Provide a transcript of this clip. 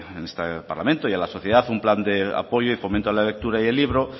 en este parlamento y a la sociedad un plan de apoyo y fomento a la lectura y el libro